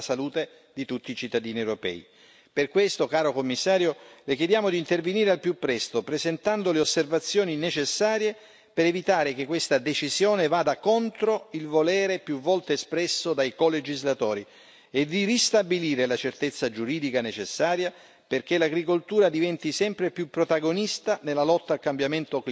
Per questo, caro Commissario, le chiediamo di intervenire al più presto, presentando le osservazioni necessarie per evitare che questa decisione vada contro il volere, più volte espresso, dai colegislatori e di ristabilire la certezza giuridica necessaria, perché l'agricoltura diventi sempre più protagonista nella lotta al cambiamento climatico e capace di rispondere,